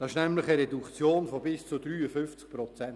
Das ist nämlich eine Reduktion von bis zu 53 Prozent.